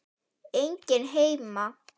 Enginn heima.